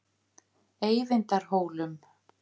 Eyvindarhólum